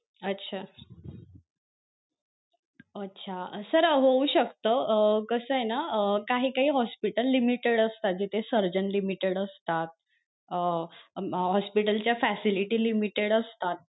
अच्छा अच्छा sir होऊ शकत अं कसय ना अं काही काही hospital limited असतात जिथे surgen limited असतात अं अं hospital च्या facility limited असतात.